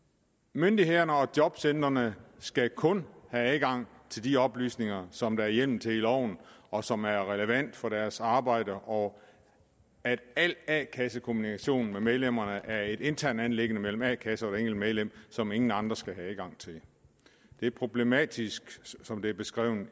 myndighederne og jobcentrene skal kun have adgang til de oplysninger som der er hjemmel til i loven og som er relevante for deres arbejde og al a kasse kommunikation med medlemmerne er et internt anliggende mellem a kassen og hvert enkelt medlem som ingen andre skal have adgang til det er problematisk som det er beskrevet i